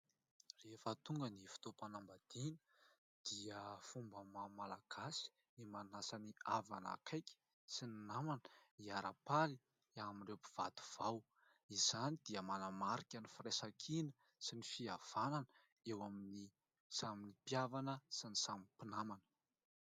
Rehefa tonga ny fotoam-panambadiana dia fomba maha-malagasy ny manasa ny havana akaiky sy ny namana hiara-paly amin'ireo mpivady vao. Izany dia manamarika ny firaisan-kina sy ny fihavanana eo amin'ny samy mpihavana sy ny samy mpinamana.